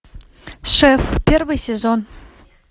шеф первый сезон